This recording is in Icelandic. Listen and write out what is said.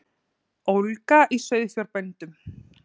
Ólga í sauðfjárbændum